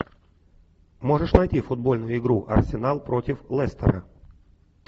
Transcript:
можешь найти футбольную игру арсенал против лестера